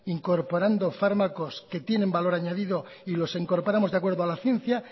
incorporando fármacos que tienen valor añadido y los incorporamos de acuerdo a la ciencia